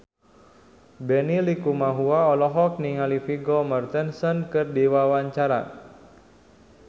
Benny Likumahua olohok ningali Vigo Mortensen keur diwawancara